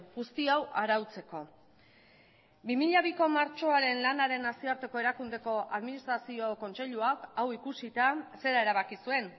guzti hau arautzeko bi mila biko martxoaren lanaren nazioarteko erakundeko administrazio kontseiluak hau ikusita zera erabaki zuen